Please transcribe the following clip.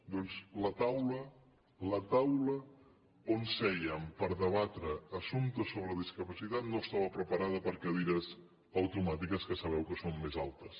doncs la taula on sèiem per debatre assumptes sobre discapacitat no estava preparada per a cadires automàtiques que sabeu que són més altes